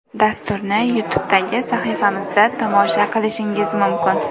Dasturni YouTube’dagi sahifamizda tomosha qilishingiz mumkin.